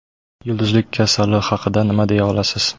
Yulduzlik kasali haqida nima deya olasiz?